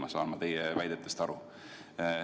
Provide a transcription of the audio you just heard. Nii saan ma teie jutust aru.